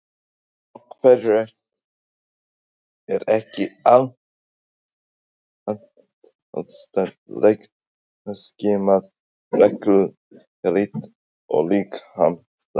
Af hverju er ekki andlegt ástand leikmanna skimað reglulega líkt og líkamlegt?